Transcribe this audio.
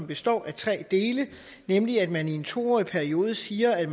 består af tre dele nemlig at man i en to årig periode siger at